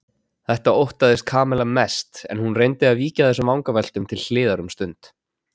Þetta óttaðist Kamilla mest en hún reyndi að víkja þessum vangaveltum til hliðar um stund.